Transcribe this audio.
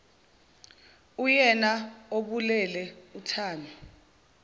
uyena obulele uthami